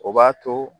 O b'a to